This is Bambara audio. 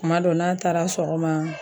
Kuma dɔw n'a taara sɔgɔma